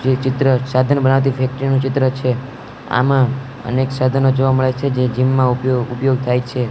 જે ચિત્ર સાધન બનાવતી ફેક્ટરી નુ ચિત્ર છે આમા અનેક સાધનો જોવા મળે છે જે જિમ માં ઉપયોગ ઉપયોગ થાય છે.